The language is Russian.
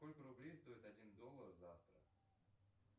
сколько рублей стоит один доллар завтра